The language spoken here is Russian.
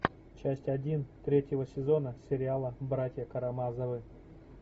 часть один третьего сезона сериала братья карамазовы